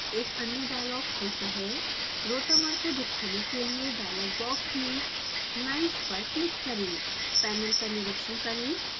एक अन्य डायलॉग खुलता हैrotamer को दिखाने के लिए डायलॉग बॉक्स में लाइन्स पर क्लिक करें पैनल का निरिक्षण करें